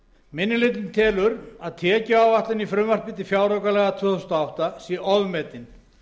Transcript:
hlutinn telur að tekjuáætlun í frumvarpi til fjáraukalaga tvö þúsund og átta sé ofmetin